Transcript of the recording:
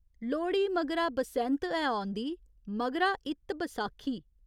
लोह्ड़ी मगरा बसैंत ऐ औंदी, मगरा इत्त बसाखी।